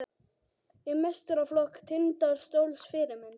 Í meistaraflokk Tindastóls Fyrirmynd?